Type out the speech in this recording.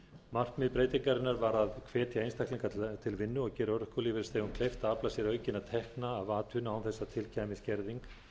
markmið breytingarinnar var að hvetja einstaklinga til vinnu og gera örorkulífeyrisþegum kleift að afla sér aukinna tekna af atvinnu án þess að til kæmi skerðing